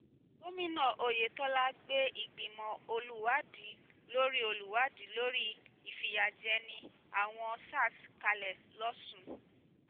gomina oyetola gbé ìgbìmọ̀ olùwádìí lórí olùwádìí lórí ìfìyàjẹni àwọn sars kalẹ̀ lọ́sùn